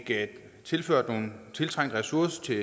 tilført nogle tiltrængte ressourcer til